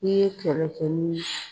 I ye kɛlɛ kɛ ni